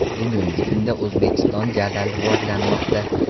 Bugungi kunda O‘zbekiston jadal rivojlanmoqda.